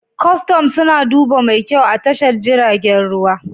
Custom suna duba mai kyau a tashar jiragen ruwa